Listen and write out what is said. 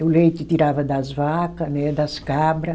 E o leite tirava das vaca, né das cabra.